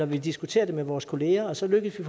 vi diskuterer det med vores kolleger og så lykkes vi